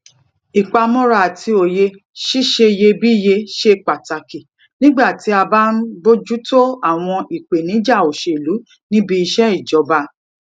ìpamọra àti òye ṣíṣeyebíye ṣe pàtàkì nígbà tí a bá ń bójú tó àwọn ìpèníjà òṣèlú níbi iṣé ìjọba